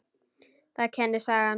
Það kennir sagan.